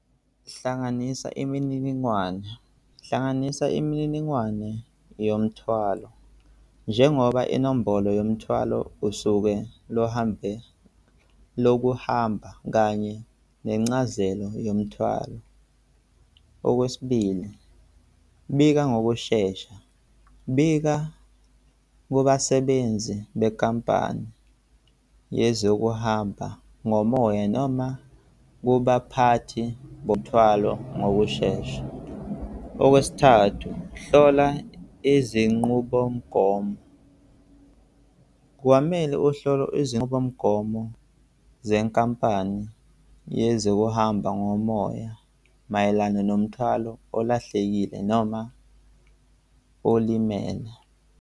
Hlanganisa imininingwane, hlanganisa imininingwane yomuthwalo. Njengoba inombolo yomthwalo usuke luhambe, lokuhamba kanye nencazelo yomthwalo. Okwesibili, bika ngokushesha, bika kubasebenzi benkampani yezokuhamba ngomoya noma kubaphathi bomthwalo ngokushesha. Okwesithathu, hlola izinqubomgomo, kwamele uhlole izinqubomgomo zenkampani yezokuhamba ngomoya mayelana nomthwalo olahlekile noma olimele.